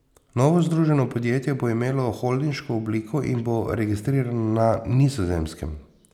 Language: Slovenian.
Novo združeno podjetje bo imelo holdinško obliko in bo registrirano na Nizozemskem.